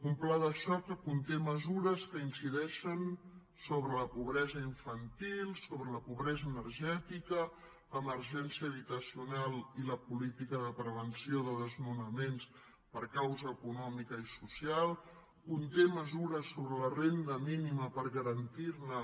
un pla de xoc que conté mesures que incideixen sobre la pobresa infantil sobre la pobresa energètica l’emergència habitacional i la política de prevenció de desnonaments per causa econòmica i social conté mesures sobre la renda mínima per garantir ne